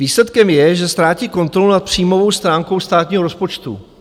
Výsledkem je, že ztrácí kontrolu nad příjmovou stránkou státního rozpočtu.